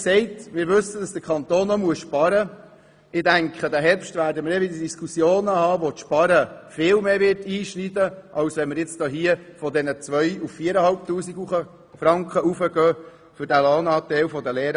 Wir wissen, dass der Kanton sparen muss, und im Herbst werden wir Diskussionen über Bereiche haben, wo das Sparen viel mehr einschneidet, als wenn man nun hier den Lohnanteil der Lehrarztpraxen von 2000 Franken auf 4500 Franken erhöht.